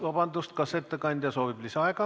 Vabandust, kas ettekandja soovib lisaaega?